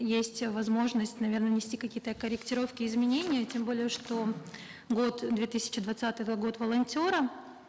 есть возможность наверно внести какие то корректировки изменения тем более что год две тысячи двадцатый это год волонтера